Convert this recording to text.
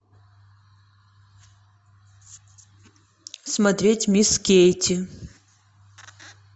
смотреть мисс кейти